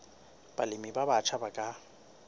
balemi ba batjha ba ka